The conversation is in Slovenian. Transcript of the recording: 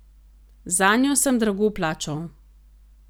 Zanjo sem drago plačal.